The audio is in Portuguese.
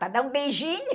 Para dar um beijinho.